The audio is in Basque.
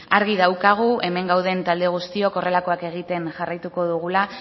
argi daukagu hemen gauden talde guztiok horrelakoak egiten jarraituko dugula